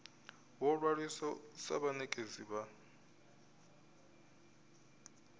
vho ṅwaliswa sa vhanekedzi vha